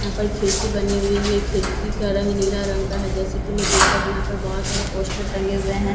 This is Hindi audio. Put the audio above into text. यहाँ पर खिड़की बनी हुई है खिड़की का रंग नीला रंग का है जैसा की मैं देख पा रही हूँ यहाँ पर बहुत सारे पोस्टर टंगे हुए हैं--